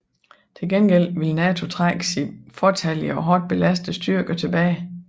Til gengæld ville NATO trække sine fåtallige og hårdt belastede styrker tilbage